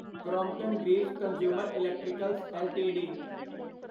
Crompton Greaves consumer electricals LTD